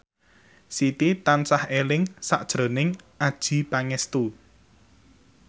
Siti tansah eling sakjroning Adjie Pangestu